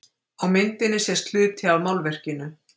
Á myndinni sést hluti af málverkinu.